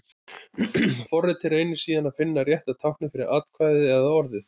Forritið reynir síðan að finna rétta táknið fyrir atkvæðið eða orðið.